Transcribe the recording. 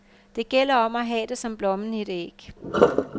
Det gælder om at have det som blommen i et æg.